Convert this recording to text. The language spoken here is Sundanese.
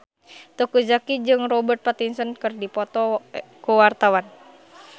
Teuku Zacky jeung Robert Pattinson keur dipoto ku wartawan